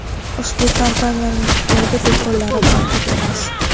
Ushbu kompaniyaning Xitoyda do‘konlari mavjud emas.